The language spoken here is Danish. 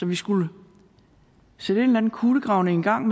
vi skulle sætte en kulegravning i gang